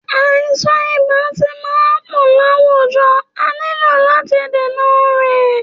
Àìsàn ibà ti ma ń pọ láwùjọ a nílò làti dènà rẹ̀